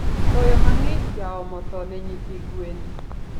Koyo mangich jaomo thoo ne nyithi gwen